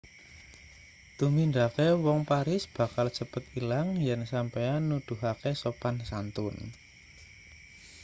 tumindake wong paris bakal cepet ilang yen sampeyan nuduhake sopan-santun